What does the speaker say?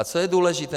A co je důležité?